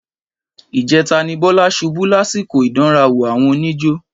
Ìjẹta ni Bọ́lá ṣubú lásìkò ìdánrawò àwọn oníjó.